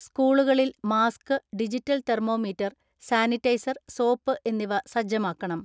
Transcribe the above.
സ്കൂളുകളിൽ mask, digital thermometer, sanitiser, soap എന്നിവ സജ്ജമാക്കണം.